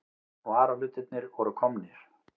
Varahlutirnir voru komnir.